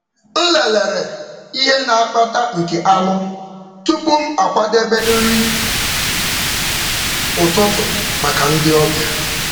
M lelere ihe na-akpata nke anụ tupu m akwadebe nri ụtụtụ maka ndị ọbịa.